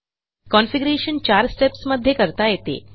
configuration चार steps मध्ये करता येते